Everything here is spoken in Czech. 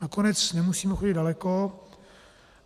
Nakonec nemusíme chodit daleko.